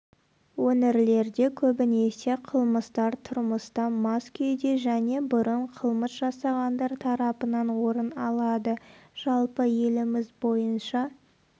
өңірлерде көбінесе қылмыстар тұрмыста мас күйде және бұрын қылмыс жасағандар тарапынан орын алады жалпы еліміз бойынша